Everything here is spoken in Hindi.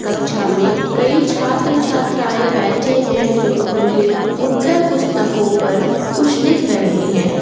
कक्षा में कई छात्र छात्राएं बैठे है जो अपनी उत्तर पुस्तकों पर कुछ लिख रहे हैं।